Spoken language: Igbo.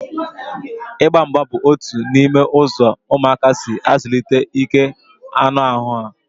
Ịgba mgba bụ otu n'ime ụzọ ụmụaka si azụlite ike anụ ahụ ha